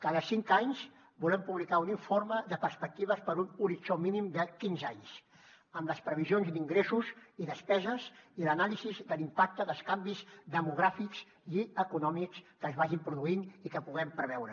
cada cinc anys volem publicar un informe de perspectives per a un horitzó mínim de quinze anys amb les previsions d’ingressos i despeses i l’anàlisi de l’impacte dels canvis demogràfics i econòmics que es vagin produint i que puguem preveure